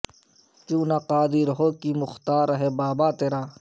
کیوں نہ قادر ہو کہ مختار ہے بابا تیرا